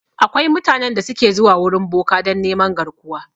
Akwai mutanen da su ke zuwa wurin boka dan neman garkuwa